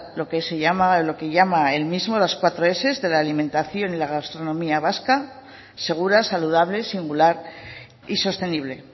lo que llama el mismo las cuatro s de la alimentación y la gastronomía vasca segura saludable singular y sostenible